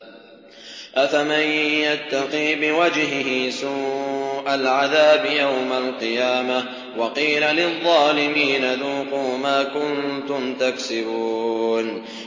أَفَمَن يَتَّقِي بِوَجْهِهِ سُوءَ الْعَذَابِ يَوْمَ الْقِيَامَةِ ۚ وَقِيلَ لِلظَّالِمِينَ ذُوقُوا مَا كُنتُمْ تَكْسِبُونَ